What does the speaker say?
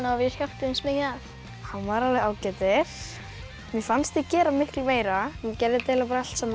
og við hjálpuðumst mikið að hann var alveg ágætur mér fannst ég gera miklu meira hún gerði þetta eiginlega allt saman